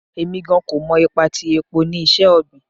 Emi gan ko mọ ipa ti epo ni iṣẹ-ogbin